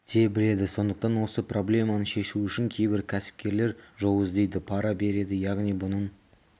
те біледі сондықтан осы проблеманы шешу үшін кейбір кәсіпкерлер жол іздейді пара береді яғни бұның